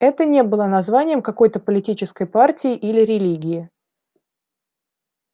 это не было названием какой-то политической партии или религии